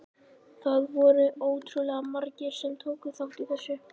Það voru ótrúlega margir sem tóku þátt í þessu.